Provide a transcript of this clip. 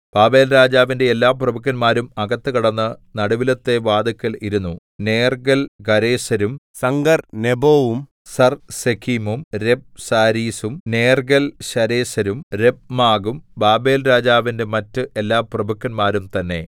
ബാബേൽരാജാവിന്റെ എല്ലാ പ്രഭുക്കന്മാരും അകത്ത് കടന്ന് നടുവിലത്തെ വാതില്ക്കൽ ഇരുന്നു നേർഗ്ഗൽശരേസരും സംഗർനെബോവും സർസെഖീമും രബ്സാരീസും നേർഗ്ഗൽശരേസരും രബ്മാഗും ബാബേൽരാജാവിന്റെ മറ്റ് എല്ലാ പ്രഭുക്കന്മാരും തന്നെ